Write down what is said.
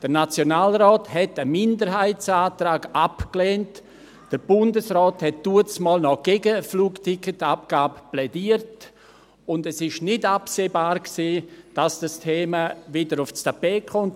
Der Nationalrat hatte einen Minderheitsantrag abgelehnt, der Bundesrat plädierte damals noch gegen eine Flugticketabgabe, und es war nicht absehbar, dass dieses Thema wieder aufs Tapet kommt.